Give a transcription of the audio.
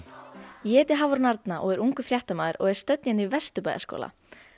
ég heiti Hafrún Arna og er ungur fréttamaður og er stödd í Vesturbæjarskóla